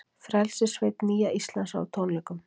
Frelsissveit Nýja Íslands á tónleikum